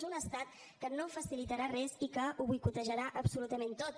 és un estat que no facilitarà res i que ho boicotejarà absolutament tot